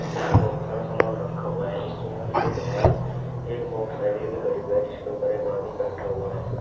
नीचे बहुत सारा सामान रखा हुआ है इस दुकान के बाहर एक मोटरसाइकिल भी खड़ी हुई है जिसके ऊपर एक आदमी बैठा हुआ है।